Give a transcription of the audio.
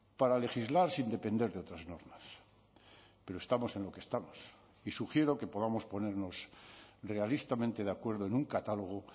para legislar sin depender de otras normas pero estamos en lo que estamos y sugiero que podamos ponernos realistamente de acuerdo en un catálogo